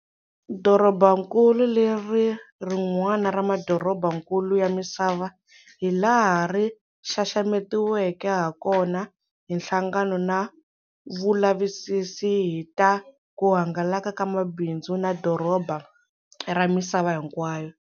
Dorobankulu leri i ri'wana ra madorobankulu ya misava hi laha ri xaxametiweke ha kona hi Nhlangano na Vulavisisi hi ta kuhangalaka ka mabindzu na Madoroba ra Misava Hinkwayo.